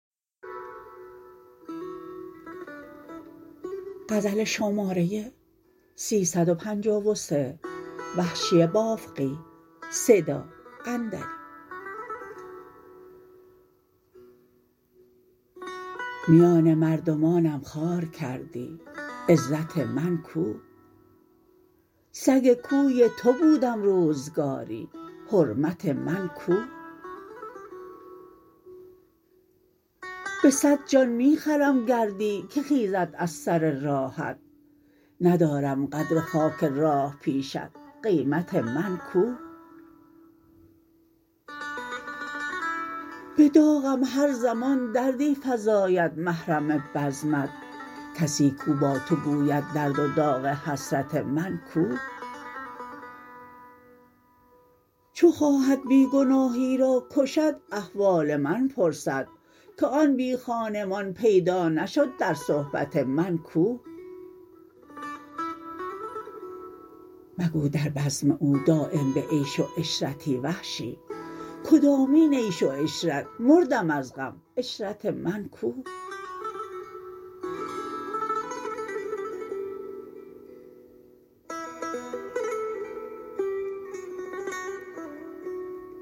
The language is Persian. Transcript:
میان مردمانم خوار کردی عزت من کو سگ کوی تو بودم روزگاری حرمت من کو به سد جان می خرم گردی که خیزد از سر راهت ندارم قدر خاک راه پیشت قیمت من کو به داغم هر زمان دردی فزاید محرم بزمت کسی کو با تو گوید درد و داغ حسرت من کو چو خواهد بی گناهی را کشد احوال من پرسد که آن بی خانمان پیدا نشد در صحبت من کو مگو در بزم او دایم به عیش و عشرتی وحشی کدامین عیش و عشرت مردم از غم عشرت من کو